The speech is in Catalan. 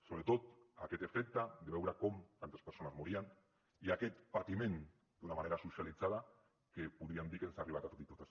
sobretot aquest efecte de veure com tantes persones morien i aquest patiment d’una manera socialitzada que podríem dir que ens ha arribat a tots i totes